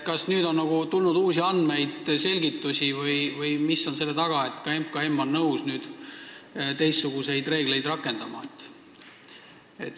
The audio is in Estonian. Kas nüüd on tulnud uusi andmeid või selgitusi või mis on selle taga, et ka Majandus- ja Kommunikatsiooniministeerium on nõus nüüd teistsuguseid reegleid rakendama?